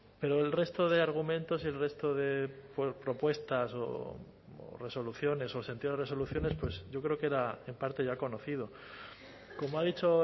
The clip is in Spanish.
pero el resto de argumentos y el resto de propuestas o resoluciones o sentido de resoluciones pues yo creo que era en parte ya conocido como ha dicho